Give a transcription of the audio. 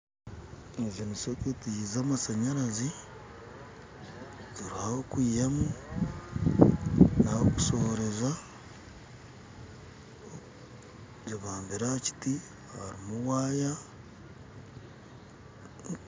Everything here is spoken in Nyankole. Ezi nisoketi z'amashanyarazi, eriho ah'okwihamu nah'okushohoreza, zibambire ahakiti harimu waya.